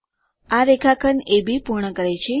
આ રેખાખંડ અબ પૂર્ણ કરે છે